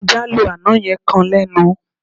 Táńjálò àná yẹn kan lẹ́nu.